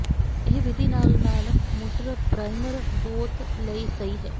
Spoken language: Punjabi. ਇਹ ਵਿਧੀ ਨਾਲ ਨਾਲ ਮੋਟਰ ਪਰਾਈਮਰ ਬੋਤ ਲਈ ਸਹੀ ਹੈ